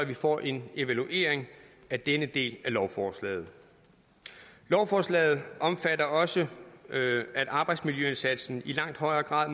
vi får en evaluering af denne del af lovforslaget lovforslaget omfatter også at arbejdsmiljøindsatsen i langt højere grad